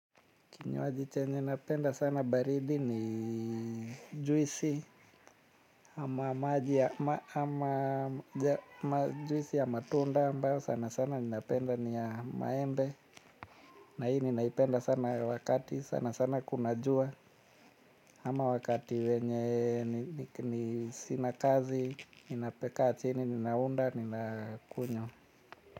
Kinywaji chenye napenda sana baridi ni juisi ya matunda ambayo sana sana ninapenda ni ya maembe. Na hii ninaipenda sana wakati sana sana kuna jua. Ama wakati wenye sina kazi, ninakaa chini, ninaunda, ninakunywa.